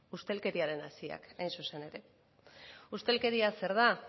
ustelkeriaren haziak hain zuzen ere ustelkeria zer da